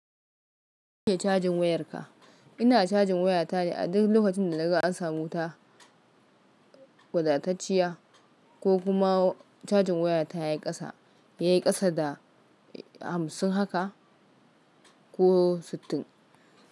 Cajin wayarka. Ina cajin wayata ne a duk lokacin da naga an samu wuta wadatacciya ko kuma cajin wayata ya yi ƙasa, ya yi ƙasa da hamsin haka ko sittin.